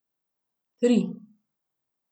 Tri.